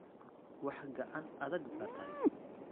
Waax gacan adag baa tahay.